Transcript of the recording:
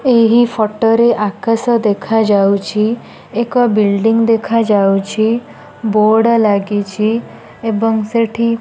ଏହି ଫୋଟ ରେ ଆକାଶ ଦେଖାଯାଉଛି ଏକ ବିଲଡିଂ ଦେଖାଯାଉଛି ବୋର୍ଡ ଲାଗିଛି ଏବଂ ସେଠି --